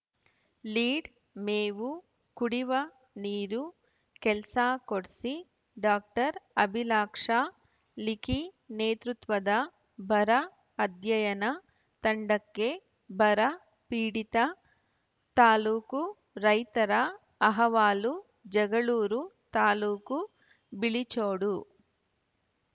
lead ಮೇವು ಕುಡಿವ ನೀರು ಕೆಲ್ಸಾ ಕೊಡ್ಸಿ ಡಾಕ್ಟರ್ ಅಭಿಲಾಕ್ಷಾ ಲಿಖಿ ನೇತೃತ್ವದ ಬರ ಅಧ್ಯಯನ ತಂಡಕ್ಕೆ ಬರ ಪೀಡಿತ ತಾಲೂಕು ರೈತರ ಅಹವಾಲು ಜಗಳೂರು ತಾಲೂಕು ಬಿಳಿಚೋಡು